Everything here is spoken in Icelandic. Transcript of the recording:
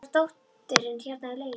Svo er dóttirin hérna í lauginni.